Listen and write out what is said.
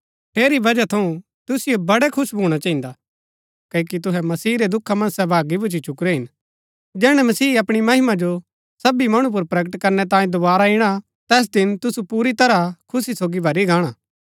ठेरी वजह थऊँ तुसिओ बड़ै खुश भूणा चहिन्दा क्ओकि तुहै मसीह रै दुखा मन्ज सहभागी भूच्ची चुकरै हिन जैहणै मसीह अपणी महिमा जो सबी मणु पुर प्रकट करनै तांये दोवारा इणा तैस दिन तुसु पुरी तरह खुशी सोगी भरी गाण